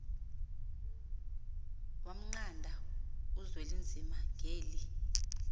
wamnqanda uzwelinzima ngeli